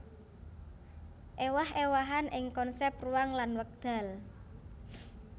Éwah éwahan ing konsèp ruang lan wekdal